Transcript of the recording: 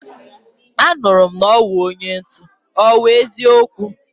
anuru m na owu onye ntu, owu eziokwu?